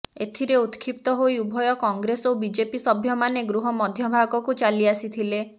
ଏଥିରେ ଉତ୍କ୍ଷିପ୍ତ ହୋଇ ଉଭୟ କଂଗ୍ରେସ ଓ ବିଜେପି ସଭ୍ୟମାନେ ଗୃହ ମଧ୍ୟ ଭାଗକୁ ଚାଲିଆସିଥିଲେ